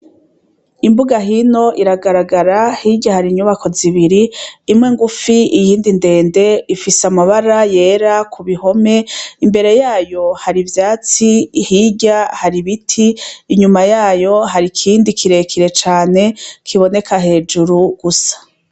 Imbuga hino iragaragara hirya hari inyubako zibiri imwe ngufi iyindi ndende ifise amabara yera kubihome imbere yayo hari ivyatsi hirya hari ibiti inyuma yayo hari ikindi kirekire cane kiboneka hejuru gusa.